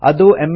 ಅದು ಎಮ್